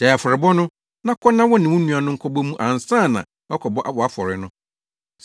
gyae afɔre no bɔ, na kɔ na wo ne wo nua no nkɔbɔ mu ansa na woakɔbɔ wʼafɔre no.